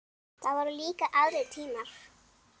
Það voru líka aðrir tímar.